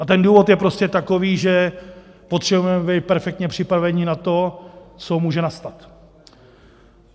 A ten důvod je prostě takový, že potřebujeme být perfektně připravení na to, co může nastat.